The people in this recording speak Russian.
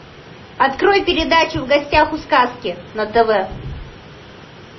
открой передачу в гостях у сказки на тв